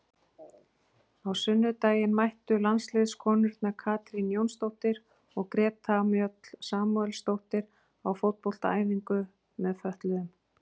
Á sunnudaginn mættu landsliðskonurnar Katrín Jónsdóttir og Greta Mjöll Samúelsdóttir á fótboltaæfingu með fötluðum.